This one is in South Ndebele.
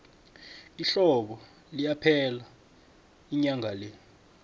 ihlobo liyaphela inyanga le